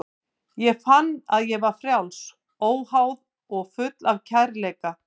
Ég fann að ég var frjáls, óháð og full af kærleika.